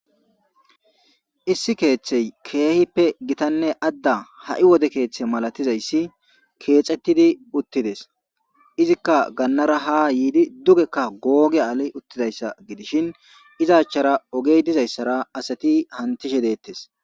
Issi keeththey keehippe gitanne adda ha'i wode keeththe malatizayssi keexettidi uttides izikka gannara ha yiidi dugekka googe ali uttidayssa gidishin izachara ogey dizayssara asati hantishe deettes.